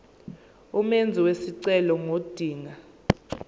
umenzi wesicelo ngodinga